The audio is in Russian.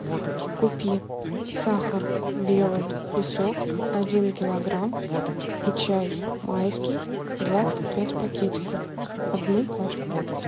купи сахар белый песок один килограмм и чай майский двадцать пять пакетиков одну пачку